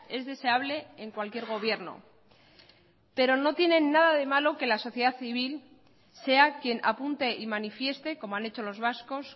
es deseable en cualquier gobierno pero no tienen nada de malo que la sociedad civil sea quien apunte y manifieste como han hecho los vascos